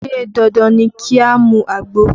Ṣé dandan ni ki a mu àgbo?